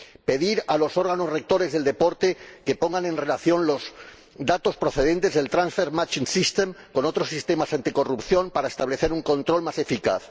pedir a los órganos rectores del deporte que pongan en relación los datos procedentes del Transfer Matching System con los de otros sistemas anticorrupción para establecer un control más eficaz.